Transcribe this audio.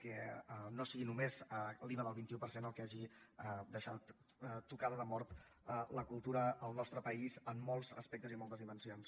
que no sigui només l’iva del vint un per cent el que hagi deixat tocada de mort la cultura al nostre país en molts aspectes i moltes dimensions